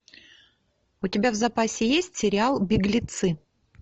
у тебя в запасе есть сериал беглецы